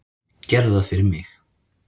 Gerðu það fyrir mig.